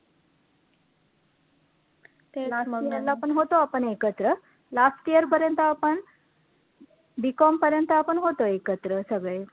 last year ला पण होतो आपण एकत्र last year पर्यंत आपण BCOM पर्यंत आपण होतो एकत्र सगळे